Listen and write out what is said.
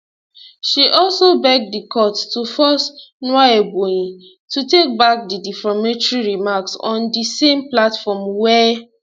she also beg di court to force nwaebonyi to take back di defamatory remarks on di same platform wia